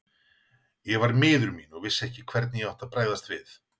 Ég var miður mín og vissi ekki hvernig ég átti að bregðast við.